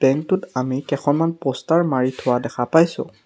Bank টোত আমি কেইখনমান প'ষ্টাৰ মাৰি থোৱা দেখা পাইছোঁ।